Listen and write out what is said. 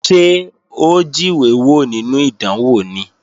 Ṣé ó jíwé wò nínú ìdánwò ni?